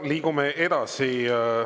Liigume edasi.